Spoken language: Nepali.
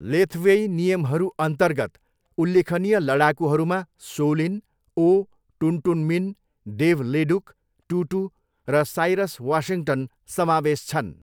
लेथवेई नियमहरूअन्तर्गत उल्लेखनीय लडाकुहरूमा So Lin O, Tun Tun Min, Dave Leduc, Too Too र साइरस वासिङ्गटन समावेश छन्।